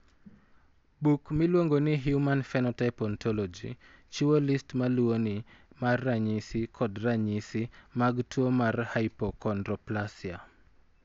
Buk miluongo ni Human Phenotype Ontology chiwo list ma luwoni mar ranyisi kod ranyisi mag tuo mar Hypochondroplasia.